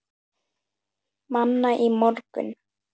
Manna í morgun.